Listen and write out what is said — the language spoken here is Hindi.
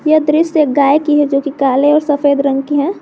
यह दृश्य एक गाय की है जोकि काले और सफेद रंग की है।